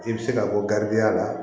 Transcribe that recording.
I bɛ se ka bɔ garibuya la